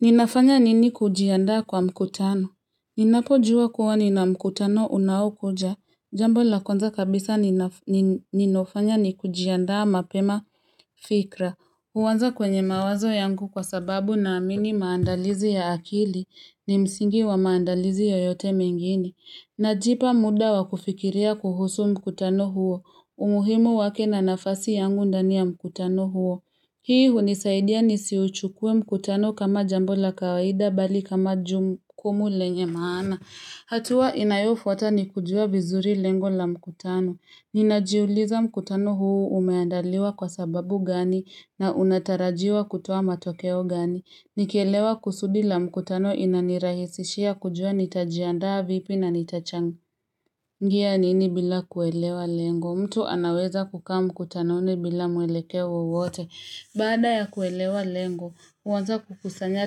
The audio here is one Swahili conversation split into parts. Ninafanya nini kujiandaa kwa mkutano? Ninapojua kuwa nina mkutano unaokuja, jambo la kwanza kabisa ninafanya ni kujiandaa mapema kifikra. Huanza kwenye mawazo yangu kwa sababu naamini maandalizi ya akili ni msingi wa maandalizi yoyote mengine. Najipa muda wa kufikiria kuhusu mkutano huo. Umuhimu wake na nafasi yangu ndani ya mkutano huo. Hii hunisaidia nisiuchukue mkutano kama jambo la kawaida bali kama jukumu lenye maana. Hatua inayofuata ni kujua vizuri lengo la mkutano. Ninajiuliza mkutano huu umeandaliwa kwa sababu gani na unatarajiwa kutoa matokeo gani. Nikielewa kusudi la mkutano inanirahisishia kujua nitajiandaa vipi na nitachangia nini bila kuelewa lengo. Mtu anaweza kukaa mkutanoni bila mwelekeo wote. Baada ya kuelewa lengo, huanza kukusanya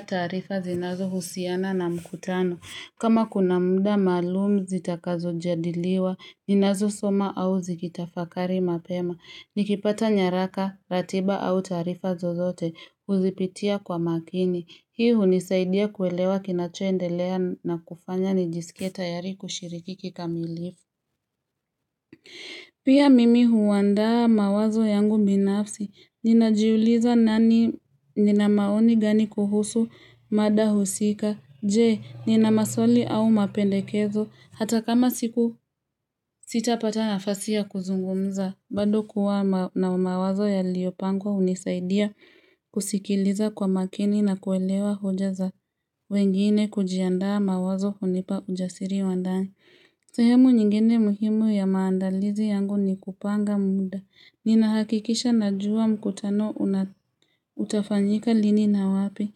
taarifa zinazohusiana na mkutano. Kama kuna muda maalum zitakazo adiliwa, ninazosoma au zikitafakari mapema. Nikipata nyaraka, ratiba au taarifa zozote, huzipitia kwa makini. Hii hunisaidia kuelewa kinachoendelea na kufanya nijisikie tayari kushiriki kikamilifu. Pia mimi huandaa mawazo yangu binafsi, ninajiuliza nina maoni gani kuhusu mada husika, je, nina maswali au mapendekezo, hata kama siku sitapata nafasi ya kuzungumza, bado kuwa na mawazo yaliyopangwa hunisaidia kusikiliza kwa makini na kuelewa hoja za wengine. Kujiandaa mawazo hunipa ujasiri wa ndani. Sehemu nyingine muhimu ya maandalizi yangu ni kupanga muda. Ninahakikisha najua mkutano utafanyika lini na wapi.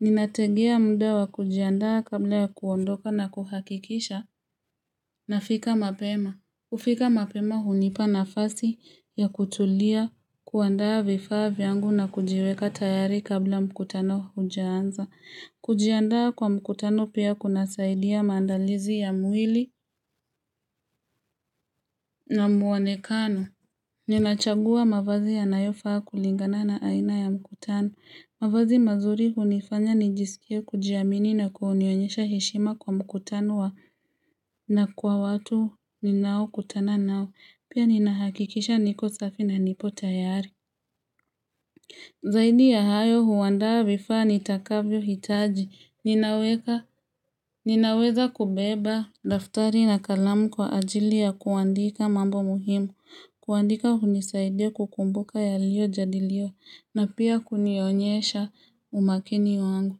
Ninategea muda wa kujiandaa kabla ya kuondoka na kuhakikisha nafika mapema. Kufika mapema hunipa nafasi ya kutulia, kuandaa vifaa vyangu na kujiweka tayari kabla mkutano hujaanza. Kujiandaa kwa mkutano pia kunasaidia maandalizi ya mwili na muonekano. Ninachagua mavazi yanayofaa kulingana na aina ya mkutano. Mavazi mazuri hunifanya nijisikia kujiamini na kunionyesha heshima kwa mkutano na kwa watu ninaokutana nao. Pia ninahakikisha niko safi na nipo tayari. Zaidi ya hayo huandaa vifaa nitakavyohitaji. Ninaweza kubeba daftari na kalamu kwa ajili ya kuandika mambo muhimu. Kuandika hunisaidia kukumbuka yaliyojadiliwa. Na pia kunionyesha umakini wangu.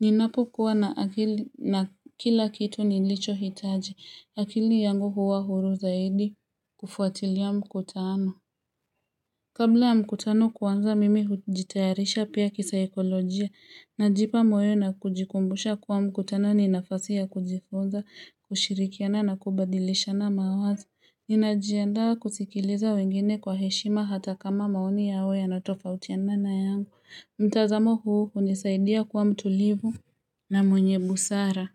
Ninapokuwa na akili na kila kitu nilichohitaji. Akili yangu huwa huru zaidi kufuatilia mkutano. Kabla mkutano kuanza mimi hujitayarisha pia kisaikolojia, najipa moyo na kujikumbusha kuwa mkutano ni nafasi ya kujifunza, kushirikiana na kubadilishana mawazo. Ninajiandaa kusikiliza wengine kwa heshima hata kama maoni yao yanatofautia na yangu mtazamo huu hunisaidia kuwa mtulivu na mwenye busara.